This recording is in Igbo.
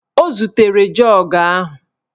O zutere jọọgụ a